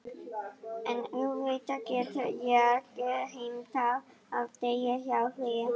En auðvitað get ég ekki heimtað að deyja hjá þér.